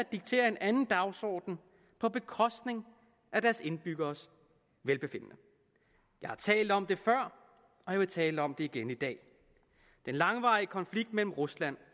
dikterer en anden dagsorden på bekostning af deres indbyggeres velbefindende jeg har talt om det før og jeg vil tale om det igen i dag den langvarige konflikt mellem rusland